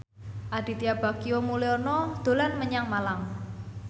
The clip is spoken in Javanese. Aditya Bagja Mulyana dolan menyang Malang